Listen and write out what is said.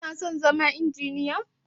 Kuna son zama Injiniya?